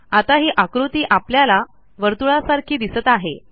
आता ही आकृती आपल्याला वर्तुळासारखी दिसत आहे